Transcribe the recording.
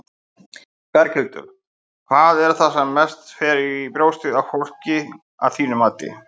Berghildur: Hvað er það sem mest fer fyrir brjóstið á fólki, að þínu mati?